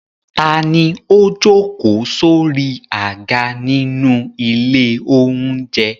Ta ni ó jókòó sórí àga nínú ilé-oúnjẹ?